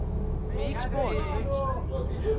Vi er ikke spor nervøse.